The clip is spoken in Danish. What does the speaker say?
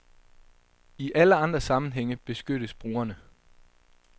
I alle andre sammenhænge beskyttes brugerne.